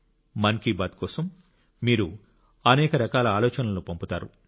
మన్ కి బాత్ కోసం మీరు అనేక రకాల ఆలోచనలను పంపుతారు